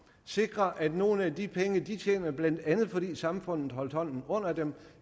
sikre at nogle af de penge de tjener blandt andet fordi samfundet holdt hånden under dem